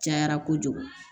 Cayara kojugu